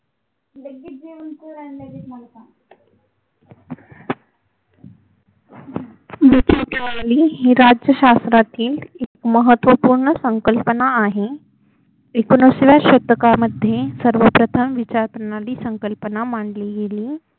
लुट लुट आली ही लाट सागरातील एक महत्वपूर्ण संकल्पना आहे एकोणिसाव्या शतकामध्ये सर्वप्रथ विचारप्रणाली संकल्पना मांडली गेली